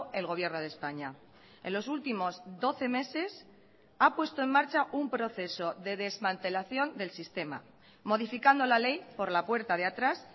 el gobierno de españa en los últimos doce meses ha puesto en marcha un proceso de desmantelación del sistema modificando la ley por la puerta de atrás